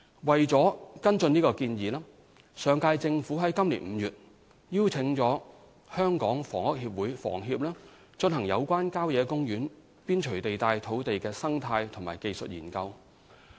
為了跟進這提議，上屆政府於今年5月邀請香港房屋協會進行有關郊野公園邊陲地帶土地的生態及技術硏究。